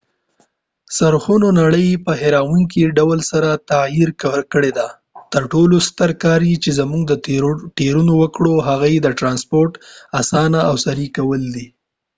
څرخونو نړۍ په حیرانونکي ډول سره تغییر کړله تر ټولو ستر کار چې مونږ ته ټیرونو وکړل هغه یې د ټرانسپورټ آسانه او سریع کول دي